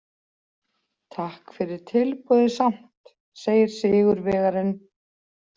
Takk fyrir tilboðið samt, segir sigurvegarinn.